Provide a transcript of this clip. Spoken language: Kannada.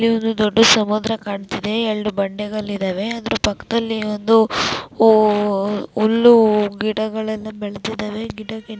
ಈ ಒಂದು ದೊಡ್ಡ ಸಮುದ್ರ ಕಾಣತ್ತಿದೆ ಎರಡು ಬಂಡೆಗಳ ಇದಾವೆ ಅದರ ಪಕ್ಕದಲ್ಲಿ ಒಂದು ಹುಲ್ಲು ಗಿಡಗಳು ಬೆಳೆದಿದವೆ ಗಿಡ --